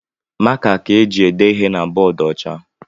Maka ka e jị ede ihe na bọọdu ọcha.